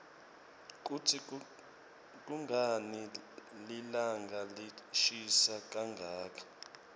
kutsi kunqani lilanqa lishisa kanqaka